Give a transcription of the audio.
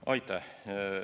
Aitäh!